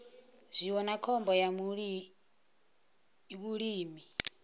zwiwo na khombo ya vhulimi